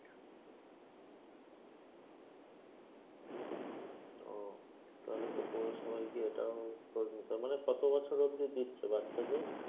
ওহ তাহলে তো পৌরসভায় গিয়ে এটাও খোঁজ নিতে হবে। মানে কত বছর অব্ধি দিচ্ছে বাচ্চাদের?